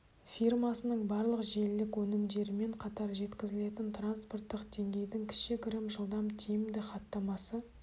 фирмасының барлық желілік өнімдерімен қатар жеткізілетін транспорттық дейгейдің кішігірім жылдам тиімді хаттамасы